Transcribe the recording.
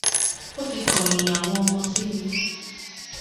ó ti kọyìn àwọn ọmọ sí mi